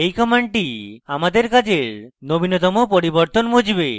এই command আমাদের কাজের নবীনতম পরিবর্তন মুছবে